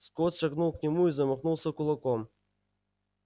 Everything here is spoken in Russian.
скотт шагнул к нему и замахнулся кулаком